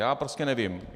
Já prostě nevím.